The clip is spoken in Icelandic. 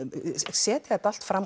setja þetta allt fram